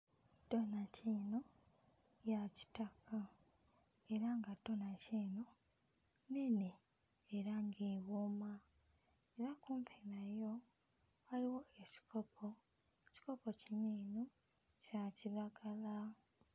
Donanti eno ya kitaka era nga donanti eno nnene era ng'ewooma era kumpi nayo waliwo ekikopo. Ekikopo kino eno kya kiragala.